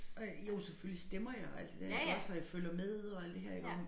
Og jo selvfølgelig stemmer jeg og alt det der iggås og jeg følger med og alt det her iggå